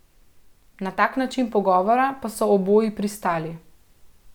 Na tak način pogovora pa so oboji pristali.